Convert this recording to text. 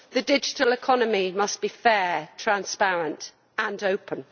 The digital economy must be fair, transparent and open.